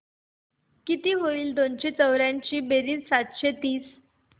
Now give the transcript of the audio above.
किती होईल दोनशे चौर्याऐंशी बेरीज सातशे तीस